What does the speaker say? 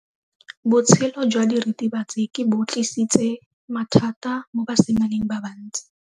Botshelo jwa diritibatsi ke bo tlisitse mathata mo basimaneng ba bantsi.